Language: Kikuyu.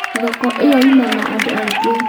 Thoko ĩyo Yuma na andũ aingĩ